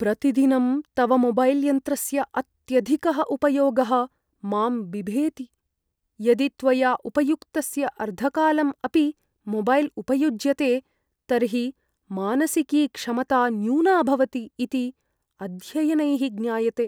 प्रतिदिनं तव मोबैल् यन्त्रस्य अत्यधिकः उपयोगः मां बिभेति, यदि त्वया उपयुक्तस्य अर्धकालम् अपि मोबैल् उपयुज्यते, तर्हि मानसिकी क्षमता न्यूना भवति इति अध्ययनैः ज्ञायते।